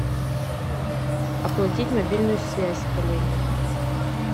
оплатить мобильную связь коллеге